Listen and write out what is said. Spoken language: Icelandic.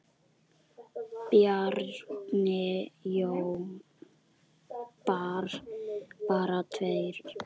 Bjarni Jó: Bara tveir?!